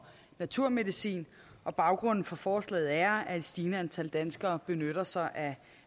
naturmedicin baggrunden for forslaget er at et stigende antal danskere benytter sig af